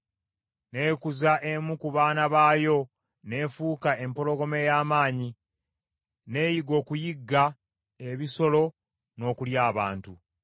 N’ekuza emu ku baana baayo n’efuuka empologoma ey’amaanyi, n’eyiga okuyigga ebisolo, n’okulya abantu.